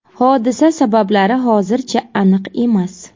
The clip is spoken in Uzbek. Hodisa sabablari hozircha aniq emas.